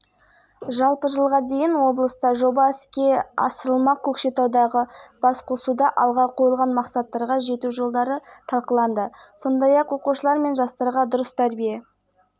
бұл қаржыға өңірдегі бірқатар тарихи-мәдени және әлеуметтік нысан қалпына келтіріледі мерген тоқсанбай жұмабаев атындағы облыстық кітапхана